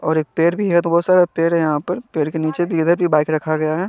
और एक पैर भी है तो बहोत सारे पैर है यहा पर पैर के निचे बाइक रखा गया है।